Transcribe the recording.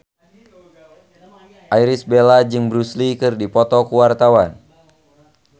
Irish Bella jeung Bruce Lee keur dipoto ku wartawan